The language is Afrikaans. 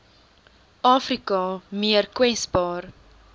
afrika meer kwesbaar